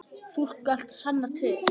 Þú skalt sanna til.